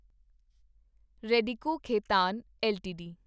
Radico Khaitan LTD